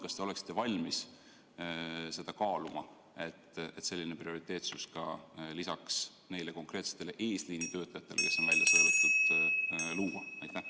Kas te oleksite valmis seda kaaluma, et selline prioriteetsus luua lisaks neile konkreetsetele eesliini töötajatele, kes on juba välja sõelutud?